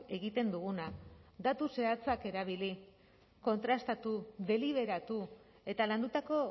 egiten duguna datu zehatzak erabili kontrastatu deliberatu eta landutako